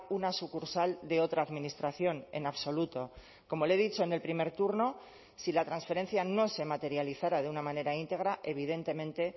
una sucursal de otra administración en absoluto como le he dicho en el primer turno si la transferencia no se materializara de una manera íntegra evidentemente